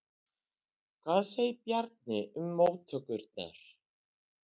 Hvað segir Bjarni um móttökurnar?